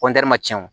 ma cɛn o